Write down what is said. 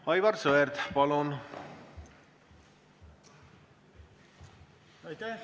Aivar Sõerd, palun!